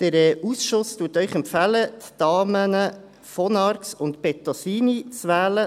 Der Ausschuss empfiehlt Ihnen, die Damen von Arx und Bettosini zu wählen.